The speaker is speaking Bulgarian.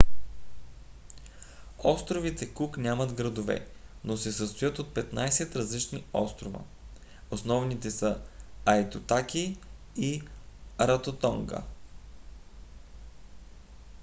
островите кук нямат градове но се състоят от 15 различни острова. основните са айтутаки и раротонга